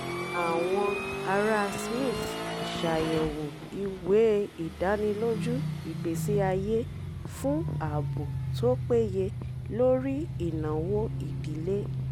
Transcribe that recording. àwọn ará smith ṣàyẹ̀wò ìwé ìdánilójú ìgbésí ayé fún ààbò tó péye lórí ìnáwó ìdílé